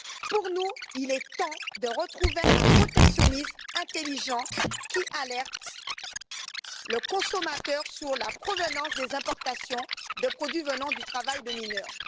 Pour nous, il est temps de retrouver un protectionnisme intelligent qui alerte le consommateur sur la provenance des importations de produits venant du travail de mineurs.